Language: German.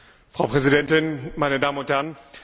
Frau Präsidentin, meine Damen und Herren!